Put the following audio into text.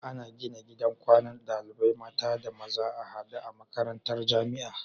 Ana gina gidan kwanan ɗalibai mata da maza a hade a makarantar jamia